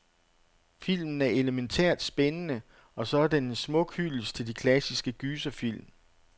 Filmen er elemæntært spændende, og så er den en smuk hyldest til de klassiske gyserfilm.